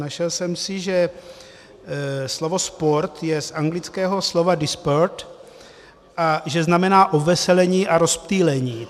Našel jsem si, že slovo sport je z anglického slova disport a že znamená obveselení a rozptýlení.